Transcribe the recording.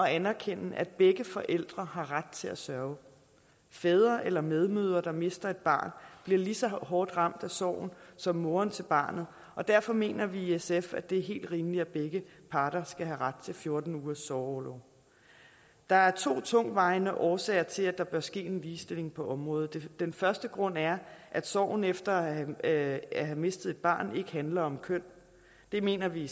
anerkende at begge forældre har ret til at sørge fædre eller medmødre der mister et barn bliver lige så hårdt ramt af sorgen som moren til barnet og derfor mener vi i sf at det er helt rimeligt at begge parter skal have ret til fjorten ugers sorgorlov der er to tungtvejende årsager til at der bør ske en ligestilling på området den første grund er at sorgen efter at have mistet et barn ikke handler om køn det mener vi